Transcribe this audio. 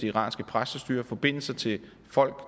iranske præstestyre eller forbindelser til folk